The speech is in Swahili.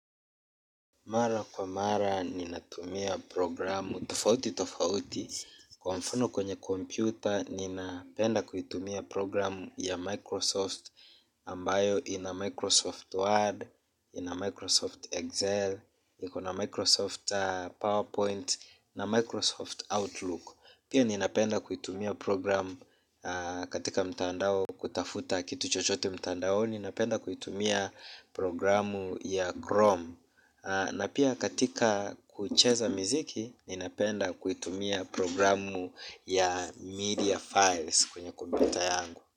Mara kwa mara ninatumia programu tofauti tofauti. Kwa mfano kwenye kompyuta ninapenda kuitumia programu ya Microsoft Ambayo ina Microsoft Word, ina Microsoft Excel, iko na Microsoft PowerPoint na Microsoft Outlook. Pia ninapenda kuitumia programu katika mtandao kutafuta kitu chochote mtandaoni napenda kuitumia programu ya Chrome. Na pia katika kucheza miziki, ninapenda kuitumia programu ya media files kwenye kompyuta yangu.